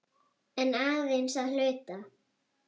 En aðeins að hluta.